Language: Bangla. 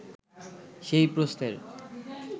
সেই প্রশ্নের